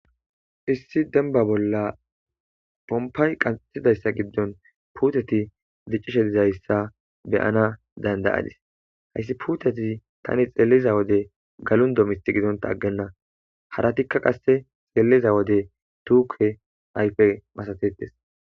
issi denba bolla pompay qanxetidayssa giddon puuteti diccishe dizayssa beyana dandayadis hayssi puuteti tani xeeliza wode galundo misti gidonta aggenna haratikka qasse xeeliza wode tuuke ayfe masatetes